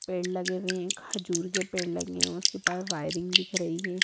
पेड़ लगे हुए है खजूर के पेड़ लगे है उसके पास वायरिंग दिख रही है।